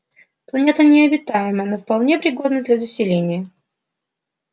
планета необитаема но вполне пригодна для заселения